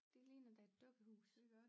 Det ligner da et dukkehus